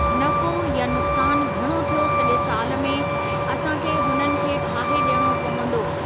नफ़ो या नुकसानु घणो थियो सॼे साल में, असां खे हुननि खे ठाहे ॾियणो पवंदो आहे।